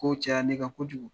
Ko caya ne kan kojugu